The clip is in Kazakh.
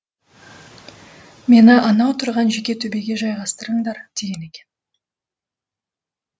мені анау тұрған жеке төбеге жайғастырыңдар деген екен